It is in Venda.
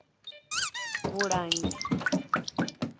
vhulangi